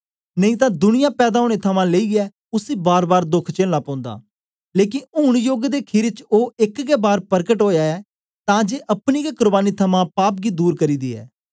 नेई तां दुनिया पैदा ओनें थमां लेईयै उसी बारबार दोख चेलना पौंदा लेकन ऊन योग दे खीरी च ओ एक गै बार परकट ओया ऐ तां जे अपनी गै कुर्बानी थमां पाप गी दूर करी दियै